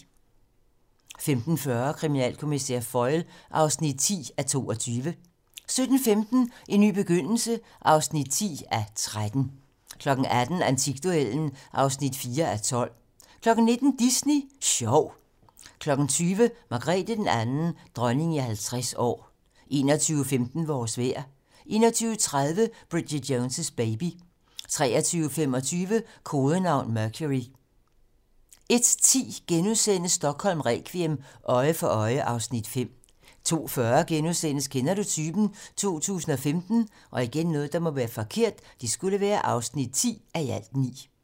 15:40: Kriminalkommissær Foyle (10:22) 17:15: En ny begyndelse (10:13) 18:00: Antikduellen (4:12) 19:00: Disney Sjov 20:00: Margrethe II - Dronning i 50 år 21:15: Vores vejr 21:30: Bridget Jones' baby 23:25: Kodenavn: Mercury 01:10: Stockholm requiem: Øje for øje (Afs. 5)* 02:40: Kender du typen? 2015 (10:9)*